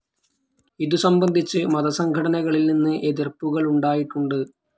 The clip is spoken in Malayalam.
ഇതുസംബന്ധിച്ച് മതസംഘടനകളിൽ നിന്ന് എതിർപ്പുകളുണ്ടായിട്ടുണ്ട്.